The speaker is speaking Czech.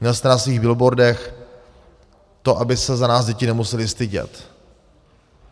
Měl jste na svých billboardech to, aby se za nás děti nemusely stydět.